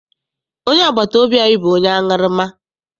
Onye agbata obi anyị bụ onye aṅụrụma.